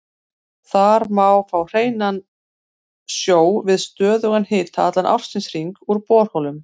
Þar má fá hreinan sjó við stöðugan hita allan ársins hring úr borholum.